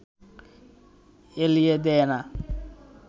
এলিয়ে দে না